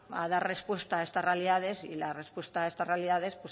a dar respuesta a estas realidades y las respuestas a estas realidades